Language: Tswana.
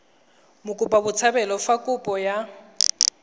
mokopa botshabelo fa kopo ya